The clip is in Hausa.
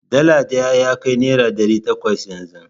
Dala ɗaya ya kai naira ɗari takwas yanzu.